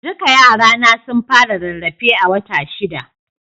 Duka yara na sun fara rarrafe a wata shida